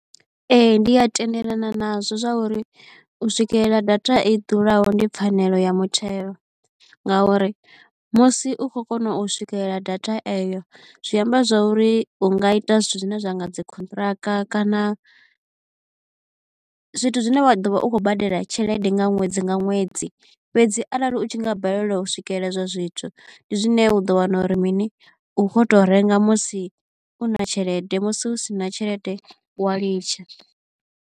Ee ndi a tendelana nazwo zwauri u swikelela data i ḓuraho ndi pfhanelo ya muthelo, ngauri musi u khou kona u swikelela data eyo zwi amba zwa uri u nga ita zwithu zwine zwa nga dzi contract kana zwithu zwine wa ḓo vha u khou badela tshelede nga ṅwedzi nga ṅwedzi. Fhedzi arali u tshi nga balelwa u swikelela ezwo zwithu ndi zwine u ḓo wana uri mini u kho to renga musi u na tshelede musi u si na tshelede wa ḽitsha.